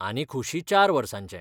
आनी खुशी चार वर्सांचे.